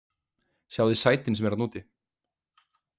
Sjáið þið sætin sem eru þarna úti?